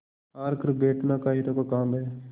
हार कर बैठना कायरों का काम है